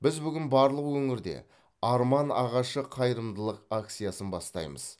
біз бүгін барлық өңірде арман ағашы қайырымдылық акциясын бастаймыз